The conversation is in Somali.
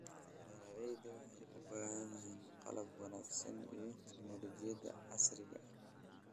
Beeraleydu waxay u baahan yihiin qalab wanaagsan iyo tignoolajiyada casriga ah.